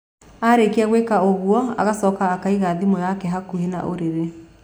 Arĩkia gwĩka ũguo, agacoka akaiga thimũ yake hakuhĩ na ũrĩrĩ.